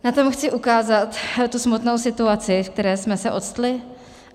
Na tom chci ukázat tu smutnou situaci, ve které jsme se octli.